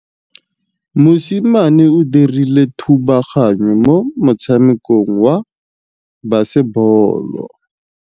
Mosimane o dirile thubaganyô mo motshamekong wa basebôlô.